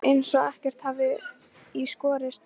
Eins og ekkert hafi í skorist.